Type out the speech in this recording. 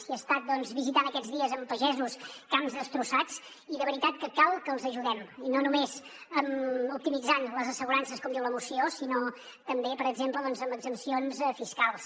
he estat visitant aquests dies amb pagesos camps destrossats i de veritat que cal que els ajudem i no només optimitzant les assegu·rances com diu la moció sinó també per exemple amb exempcions fiscals